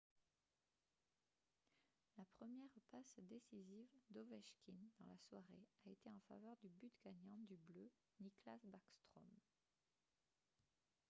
la première passe décisive d’ovechkin dans la soirée a été en faveur du but gagnant du bleu nicklas backstrom ;